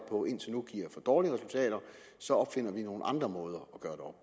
på indtil nu giver for dårlige resultater så opfinder man nogle andre måder at gøre